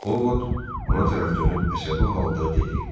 Ovod ona tərəf dönüb əsəbi halda dedi.